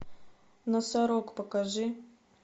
носорог покажи